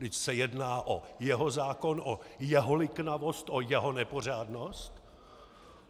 Vždyť se jedná o jeho zákon, o jeho liknavost, o jeho nepořádnost.